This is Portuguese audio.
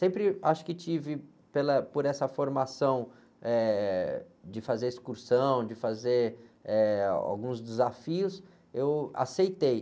Sempre acho que tive, pela, por essa formação, eh, de fazer excursão, de fazer, eh, alguns desafios, eu aceitei.